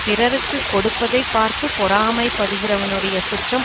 பிறருக்கு கொடுப்பதை பார்த்து பொறாமை படுகிறவனுடைய சுற்றம்